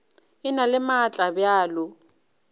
e na le maatla bjalo